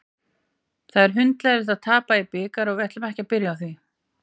Það er hundleiðinlegt að tapa í bikar og við ætlum ekkert að byrja á því.